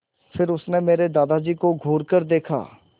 फिर उसने मेरे दादाजी को घूरकर देखा